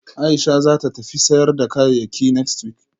Aisha zata tafi sayar da kayayyakinext week